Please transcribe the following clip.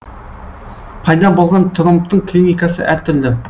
пайда болған тромбтың клиникасы әр түрлі